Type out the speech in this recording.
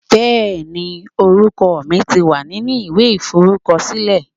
Bẹẹni, orúkọ mi ti wà nínú ìwé iforukosile.